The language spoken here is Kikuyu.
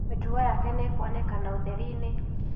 Mĩtugo yake nĩ ĩkuonekana ũtheri-inĩ.